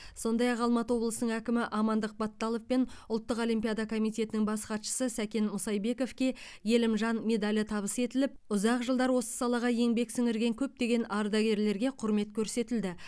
сондай ақ алматы облысының әкімі амандық баталов пен ұлттық олимпиада комитетінің бас хатшысы сәкен мұсайбековке елімжан медалі табыс етіліп ұзақ жылдар осы салаға еңбек сіңірген көптеген ардагерлерге құрмет көрсетілді